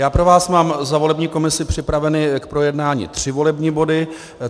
Já pro vás mám za volební komisi připraveny k projednání tři volební body.